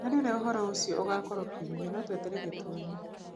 Harĩ ũrĩa ũhoro ũcio ũgakorwo kiumia, no twetereire tuone.